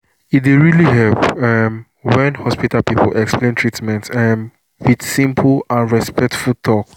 e dey really help um when hospital people explain treatment um with simple and respectful talk.